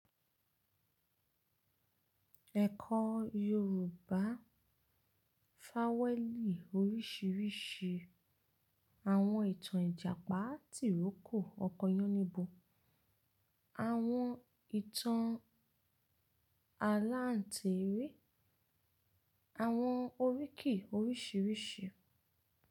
Ẹ̀kọ́ Yorùbá. Fáwẹ́ẹ̀lì oríṣiríṣi. Àwọn ìtàn Ìjàpá tìrókò, ọkọ Yánníbo. Àwọn ìtàn aláǹteré. Àwọn oríkì oríṣiríṣi.